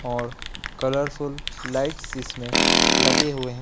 और colourful lights इसमें लगे हुए हैं।